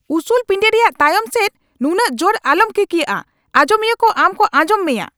ᱩᱥᱩᱞ ᱯᱤᱸᱰᱟᱹ ᱨᱮᱭᱟᱜ ᱛᱟᱭᱚᱢ ᱥᱮᱫ ᱱᱩᱱᱟᱹᱜ ᱡᱳᱨ ᱟᱞᱚᱢ ᱠᱤᱠᱭᱟᱹᱜᱼᱟ ᱾ ᱟᱸᱡᱚᱢᱤᱭᱟᱹ ᱠᱚ ᱟᱢ ᱠᱚ ᱟᱸᱡᱚᱢ ᱢᱮᱭᱟ ᱾